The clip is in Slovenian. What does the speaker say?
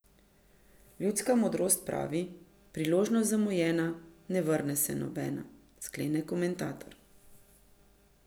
Ljudska modrost pravi, priložnost zamujena, ne vrne se nobena, sklene komentator.